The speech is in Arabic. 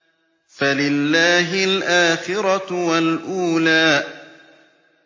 فَلِلَّهِ الْآخِرَةُ وَالْأُولَىٰ